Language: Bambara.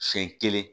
Sen kelen